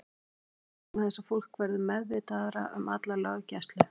Kannski eykst hún vegna þess að fólk verður meðvitaðra um alla löggæslu.